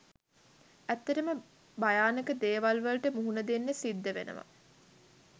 ඇත්තටම භයානක දේවල් වලට මුහුණදෙන්න සිද්ධ වෙනවා